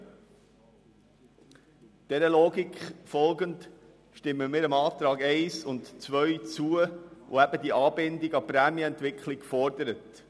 Dieser Logik folgend stimmen wir den Anträgen 1 und 2 zu, die die Anbindung an die Prämienentwicklung fordern.